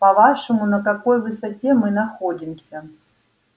по-вашему на какой высоте мы находимся